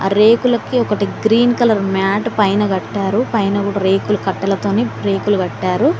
రేకులకి ఒకటి green colour mat పైన కట్టారు పైన కూడా రేకులు కట్టలతోని రేకులు కట్టారు.